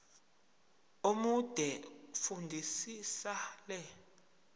omude fundisisa le